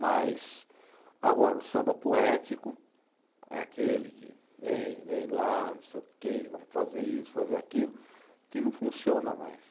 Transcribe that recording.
Mas agora o samba poético é aquele que vem, vem lá, não sei o quê, vamos fazer isso, fazer aquilo, que não funciona mais.